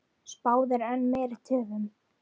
Spáð er enn meiri töfum.